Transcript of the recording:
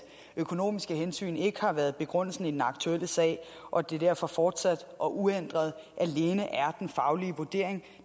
økonomiske hensyn ikke har været begrundelsen i den aktuelle sag og at det derfor fortsat og uændret alene er den faglige vurdering